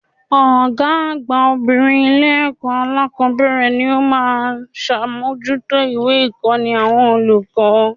Ògá àgbà obìnrin Ilé èkó alákòbéèrè ni ó má a n sàmójútó ìwé ìkóni àwọn olùkó